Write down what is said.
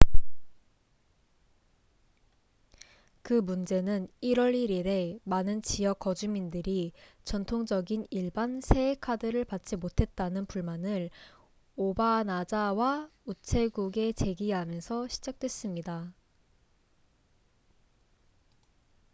그 문제는 1월 1일에 많은 지역 거주민들이 전통적인 일반 새해 카드를 받지 못했다는 불만을 오바나자와 우체국에 제기하면서 시작됐습니다